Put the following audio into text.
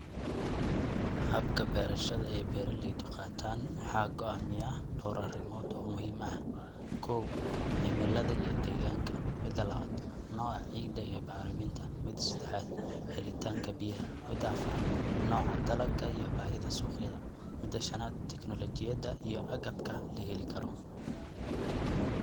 Habka bereshada beraleyda qatan waxa goamiyah dor arimod oo muhim ah kow, cimilada iyo deganka mida laabad, noca cida iyo bariminta, mida sedexad, helitanka biyaha mida afarad, noca dalaga iyo bahida suqyada mida shanad, teknologiyada iyo agabka laheli karo.